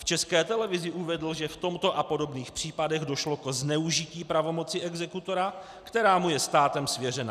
V České televizi uvedl, že v tomto a podobných případech došlo ke zneužití pravomoci exekutora, která mu je státem svěřena.